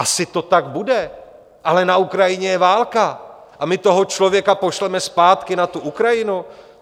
Asi to tak bude, ale na Ukrajině je válka a my toho člověka pošleme zpátky na tu Ukrajinu?